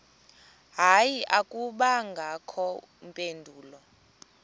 hayi akubangakho mpendulo